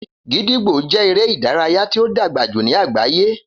Gídígbò jẹ́ eré ìdárayá tí ó dàgbà jù ní àgbáyé